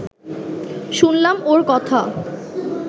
শুনলাম ওঁর কথা